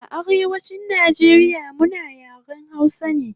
A Arewachin Nijeria muna yaren hausa ne